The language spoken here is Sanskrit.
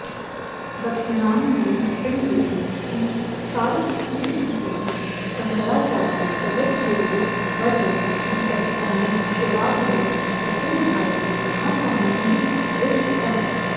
दक्षिणाम्नाय श्रिङ्गेरी श्रीशारदापीठाधिपति शङ्कराचार्य जगद्गुरुवर्यो श्री सच्चिदानन्द शिवाभिनव नृसिंहभारती महास्वामिभिः विरचितम्